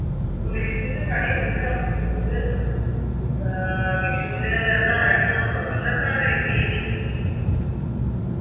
വിഷുന് കണി എടുക്കണം വിഷുന് ഏർ വിഷുന് എന്ന രണ്ടു ദിവസാണോ ഇന്നെത്രണ് ഏർ തീയതി